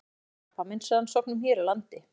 Að stuðla að krabbameinsrannsóknum hér á landi.